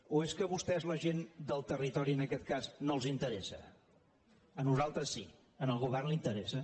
o és que a vostès la gent del territori en aquest cas no els interessa a nosaltres sí al govern li interessa